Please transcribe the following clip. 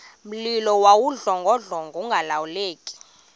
mlilo wawudlongodlongo ungalawuleki